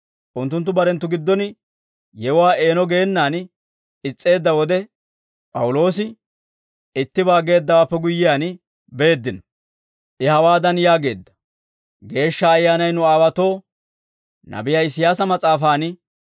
Unttunttu barenttu giddon yewuwaa eeno geenaan is's'eedda wode, P'awuloosi ittibaa geeddawaappe guyyiyaan beeddino; I hawaadan yaageedda; «Geeshsha Ayyaanay nu aawaatoo nabiyaa Isiyaasa mas'aafaan,